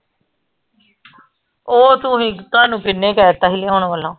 ਓ ਤੁਹੀਂ ਤੁਹਾਨੂੰ ਕਿੰਨੇ ਕਹਿਤਾ ਹੀ ਲਿਆਉਣ ਵੱਲੋਂ